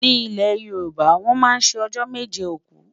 ní ilè yorùbá, wón má sé ọjọ méje òkú